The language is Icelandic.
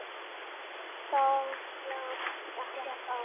Þá lá ekkert á.